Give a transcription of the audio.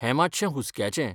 हें मात्शें हुस्काचें.